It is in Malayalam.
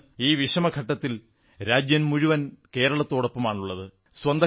ഇന്ന് ഈ വിഷമഘട്ടത്തിൽ രാജ്യം മുഴുവൻ കേരളത്തോടൊപ്പമാണുള്ളത്